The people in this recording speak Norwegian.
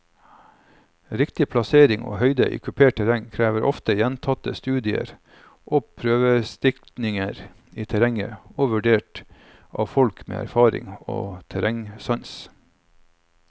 Riktig plassering og høyde i kupert terreng krever ofte gjentatte studier og prøvestikninger i terrenget og vurdert av folk med erfaring og terrengsans.